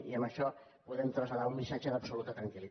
i en això podem traslladar un missatge d’absoluta tranquil